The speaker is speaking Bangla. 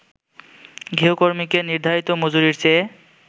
গৃহকর্মীকে নির্ধারিত মজুরির চেয়ে